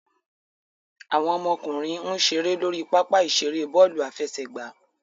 Awọn ọmọkunrin n ṣere lori papa-iṣere bọọlu afẹsẹgba